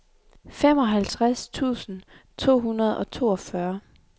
femoghalvtreds tusind to hundrede og toogfyrre